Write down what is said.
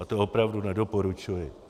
A to opravdu nedoporučuji.